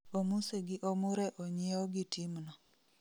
Omuse gi Omure onyieo gi team no